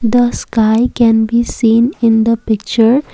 the sky can be seen in the picture.